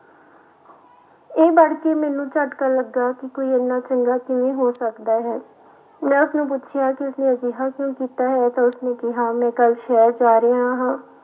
ਇਹ ਪੜ੍ਹ ਕੇ ਮੈਨੂੰ ਝਟਕਾ ਲੱਗਾ ਕਿ ਕੋਈ ਇੰਨਾ ਚੰਗਾ ਕਿਵੇਂ ਹੋ ਸਕਦਾ ਹੈ, ਮੈਂ ਉਸਨੂੰ ਪੁੱਛਿਆ ਕਿ ਉਸਨੇ ਅਜਿਹਾ ਕਿਉਂ ਕੀਤਾ ਹੈ ਤਾਂ ਉਸਨੇ ਕਿਹਾ ਮੈਂ ਕੱਲ੍ਹ ਸ਼ਹਿਰ ਜਾ ਰਿਹਾ ਹਾਂ,